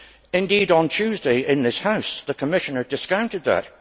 indeed, on Tuesday in this House, the Commissioner discounted that.